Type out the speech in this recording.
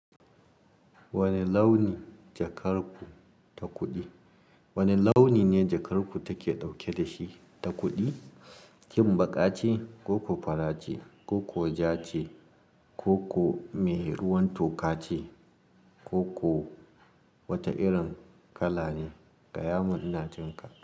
Wane launi jakar ku ta kuɗi? Wane launi ne jakar ku take ɗauke da shi ta kuɗi? Kim baƙa ce, ko ko fara ce, ko ko ja ce, ko ko mai ruwan toka ce, ko ko wata irin kala ne? Gaya mun ina jin kaka.